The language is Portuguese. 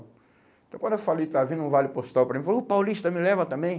Então quando eu falei que estava vindo um vale postal para mim, ele falou, o paulista me leva também?